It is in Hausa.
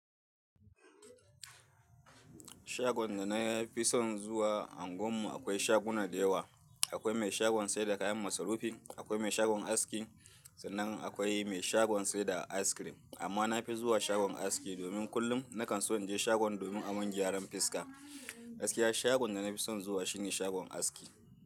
Shagon da na fi son zuwa a unguwar mu akwai shaguna da yawa. Akwai mai shagon sayar da kayan masarufi, akwai mai shagon aski sannan akwai mai shagon sayar da Ice cream. Amma na fi zuwa shagon aski domin kullum na kan so in je shagon domin aman gyaran fiska. Gaskiya shagon da na fi son zuwa shine shagon aski.